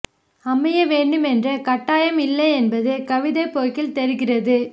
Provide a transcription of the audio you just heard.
அமைய வேண்டும் என்ற கட்டாயம் இல்லை என்பது கவிதைப் போக்கில் தெரிகிறது